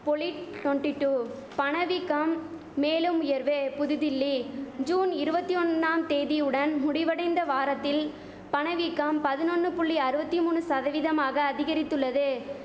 பொலிட் twenty two பணவீக்கம் மேலும் உயர்வு புதுதில்லி ஜூன் இருவத்தி ஒன்னாம் தேதியுடன் முடிவடைந்த வாரத்தில் பணவீக்கம் பதினொன்னு புள்ளி ஆறுவத்தி மூனு சதவீதமாக அதிகரித்துள்ளது